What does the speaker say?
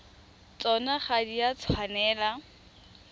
tsona ga di a tshwanela